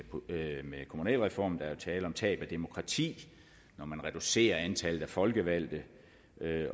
kommunalreformen jo tale om tab af demokrati når man reducerer antallet af folkevalgte